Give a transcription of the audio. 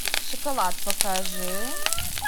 шоколад покажи